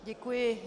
Děkuji.